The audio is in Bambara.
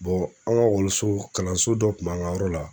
an ka kalanso dɔ kun b'an ka yɔrɔ la